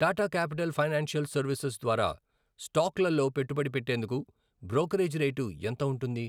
Tata Capital Financial Services ద్వారా స్టాక్లలో పెట్టుబడి పెట్టేందుకు బ్రోకరేజీ రేటు ఎంత ఉంటుంది?